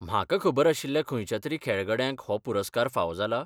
म्हाका खबर आशिल्ल्या खंयच्या तरी खेळगड्यांक हो पुरस्कार फावो जाला?